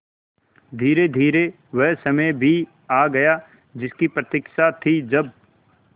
धीरेधीरे वह समय भी आ गया जिसकी प्रतिक्षा थी जब